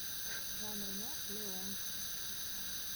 жан рено леон